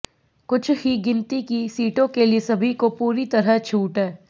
कुछ ही गिनती की सीटों के लिए सभी को पूरी तरह छूट है